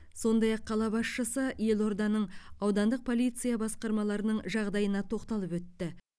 сондай ақ қала басшысы елорданың аудандық полиция басқармаларының жағдайына тоқталып өтті